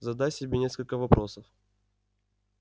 задай себе несколько вопросов